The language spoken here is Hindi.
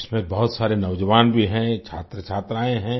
इसमें बहुत सारे नौजवान भी हैं छात्रछात्राएँ हैं